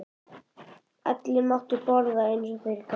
Allir máttu borða eins og þeir gátu.